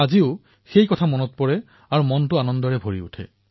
যেতিয়াই সেই দিনটোৰ কথা মনত পেলাও তেতিয়াই মনটো আনন্দেৰে ভৰি পৰে